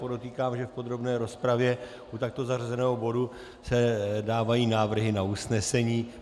Podotýkám, že v podrobné rozpravě u takto zařazeného bodu se dávají návrhy na usnesení.